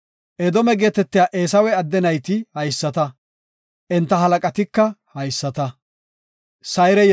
Edoome geetetiya Eesawe adde nayti haysata; enta halaqatika haysata.